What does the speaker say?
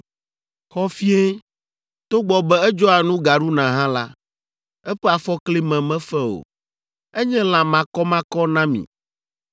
Xɔfie, togbɔ be edzɔa nu gaɖuna hã la, eƒe afɔkli me mefe o. Enye la makɔmakɔ na mi.